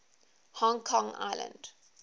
hong kong island